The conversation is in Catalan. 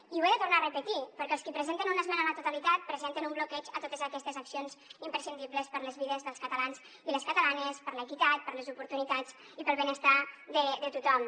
i ho he de tornar a repetir perquè els qui presenten una esmena a la totalitat presenten un bloqueig a totes aquestes accions imprescindibles per a les vides dels catalans i les catalanes per a l’equitat per a les oportunitats i per al benestar de tothom